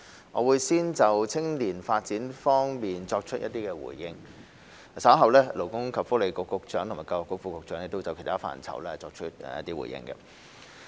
我會先就青年發展方面作出回應，稍後勞工及福利局局長和教育局副局長會就其他範疇作出回應。